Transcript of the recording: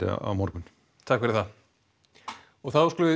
á morgun þá skulum við